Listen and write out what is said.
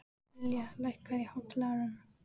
Ylja, lækkaðu í hátalaranum.